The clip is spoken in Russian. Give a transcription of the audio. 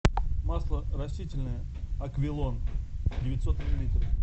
масло растительное аквилон девятьсот миллилитров